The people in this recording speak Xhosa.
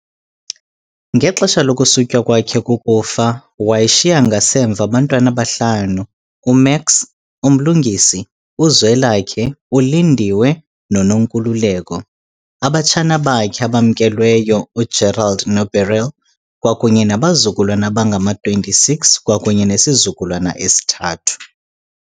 Ngexesha lokusutywa kwakhe kukufa, wayeshiya ngasemva abantwana abahlanu, uMax, uMlungisi, UZwelakhe, uLindiwe, noNonkululeko, abatshana bakhe abamkelweyo uGerald noBeryl, kwakunye nabazukulwana abangama-26 kwakunye nesizukulwana esithathu.